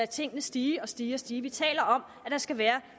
tingene stige og stige stige vi taler om at der skal være